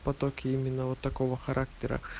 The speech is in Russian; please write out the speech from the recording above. потоки именно вот такого характера